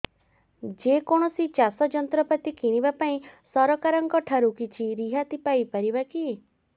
ଯେ କୌଣସି ଚାଷ ଯନ୍ତ୍ରପାତି କିଣିବା ପାଇଁ ସରକାରଙ୍କ ଠାରୁ କିଛି ରିହାତି ପାଇ ପାରିବା କି